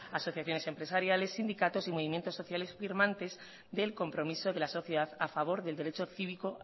asociaciones empresariales sindicatos y movimientos sociales firmantes del compromiso de la sociedad a favor del derecho cívico